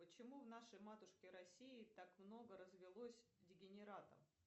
почему в нашей матушке россии так много развелось дегенератов